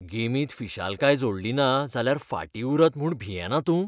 गेमींत फिशालकाय जोडलिना जाल्यार फाटीं उरत म्हूण भियेना तूं?